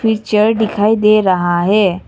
Picture दिखाई दे रहा है।